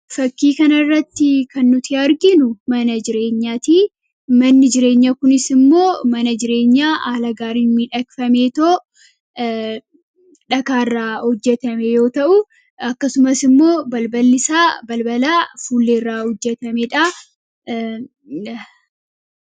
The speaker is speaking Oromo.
Fakkii kana irratti kan nuti arginu, mana jireenyaati. Manni jireenyaa kunis immoo mana jireenyaa haala gaariidhaan miidhagffamee , dhagaa irraa hojjetame yoo ta'u akkasumas immoo balballi isaa balbala fuullee irraa hojjetamedha.